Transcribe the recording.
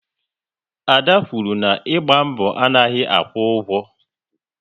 Ada kwuru na "ịgba mbọ anaghị akwụ ụgwọ"